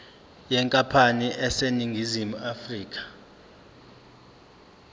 yenkampani eseningizimu afrika